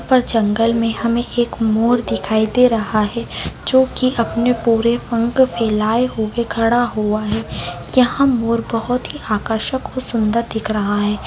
पर जंगल में हमें एक मोर दिखाई दे रहा है जो की अपने पूरे पंख फैलाये हुये खडा हुआ है। यहाँ मोर बहुत ही आकर्षक और सुन्दर दिख रहा है।